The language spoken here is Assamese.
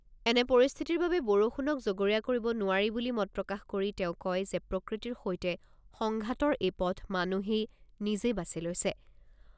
এনে পৰিস্থিতিৰ বাবে বৰষুণক জগৰীয়া কৰিব নোৱাৰি বুলি মত প্ৰকাশ কৰি তেওঁ কয় যে প্ৰকৃতিৰ সৈতে সংঘাতৰ এই পথ মানুহেই নিজেই বাচি লৈছে।